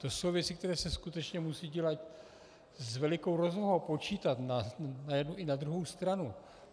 To jsou věci, které se skutečně musí dělat s velkou rozvahou, počítat na jednu i na druhou stranu.